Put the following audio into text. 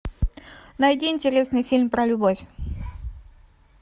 найди интересный фильм про любовь